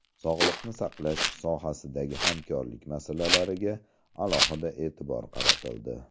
Sog‘liqni saqlash sohasidagi hamkorlik masalalariga alohida e’tibor qaratildi.